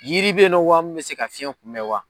Yiri bɛ ye nɔ wa min bɛ se ka fiyɛn kunbɛn wa?